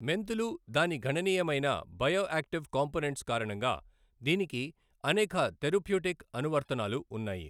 మెంతులు దాని ఘణనీయమైన బయోయాక్టివ్ కాంపోనెంట్స్ కారణంగా దీనికి అనేక థెరప్యూటిక్ అనువర్తనాలు ఉన్నాయి.